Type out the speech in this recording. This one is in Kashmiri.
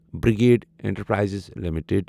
brigade Enterprises limited